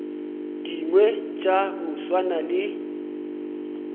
dingwe tša go swana le